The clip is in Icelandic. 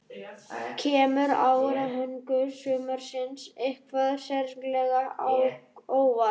Kemur árangur sumarsins eitthvað sérstaklega á óvart?